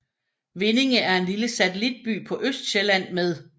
Vindinge er en lille satellitby på Østsjælland med